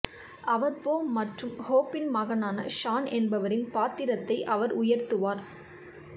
அவர் Bo மற்றும் ஹோப்பின் மகனான ஷான் என்பவரின் பாத்திரத்தை அவர் உயர்த்துவார்